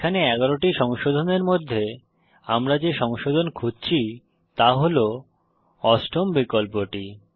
এখানে 11 টি সংশোধনের মধ্যে আমরা যে সংশোধন খুঁজছি তা হল অষ্টম বিকল্পটি